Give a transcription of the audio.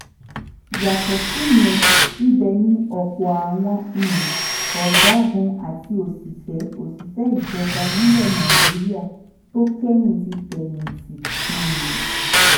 yàtọ̀ síyẹn ibẹ̀ ni ọ̀pọ̀ àwọn um ọ̀gágun àti òṣìṣẹ́ òṣìṣẹ́ ìjọba nílẹ̀ nàìjíríà tó kẹ́yìn ti fẹ́yìntì. um